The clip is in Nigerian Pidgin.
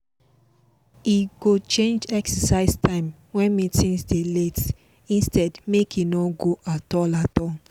e go change exercise time when meetings dey late instead make e no go at all at all